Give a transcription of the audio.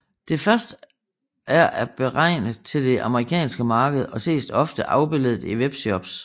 Det første er beregnet til det amerikanske marked og ses ofte afbilledet i webshops